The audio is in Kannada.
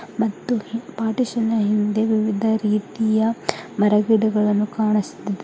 ಮತ್ತು ಪಾರ್ಟಿಶನ್ ನ ಹಿಂದೆ ವಿವಿಧ ರೀತಿಯ ಮರ ಗಿಡಗಳನ್ನು ಕಾಣುಸ್ತಿದೆ.